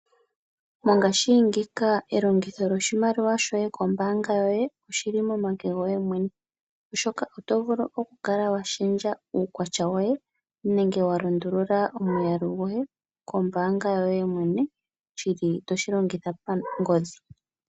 Ngashingeyi elongitho lyoshimaliwa shoye kombaanga yoye oshi li momake goye mwene oshoka oto vulu oku kala shendja uukwatya woye nenge walundulula omwaalu goye kombaabga yoye mwene shi li toshi longitha pangodhi.